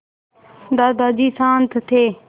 दादाजी शान्त थे